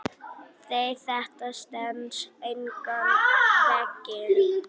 Nei, þetta stenst engan veginn.